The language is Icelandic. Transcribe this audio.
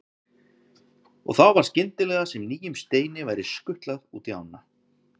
Og þá var skyndilega sem nýjum steini væri skutlað út í ána.